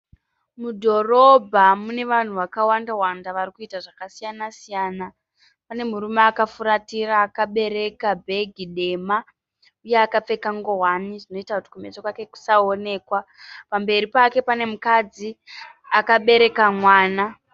Mudhorobha mune vanhu vakawanda varikuita zvakasiyana siyana. Pane murume akafuratira akabereka bhegi dema iye akapfeka nguwani zvinoita kuti kumeso kwake kusaonekwa . Pamberi pake pane mukadzi akabereka mwana.